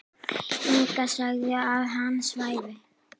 Inga sagði að hann svæfi.